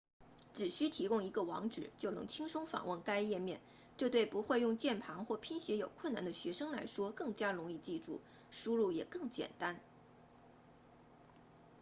只需提供一个网址就能轻松访问该页面这对不会用键盘或拼写有困难的学生来说更加容易记住输入也更简单